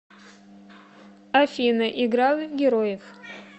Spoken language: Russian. афина играла в героев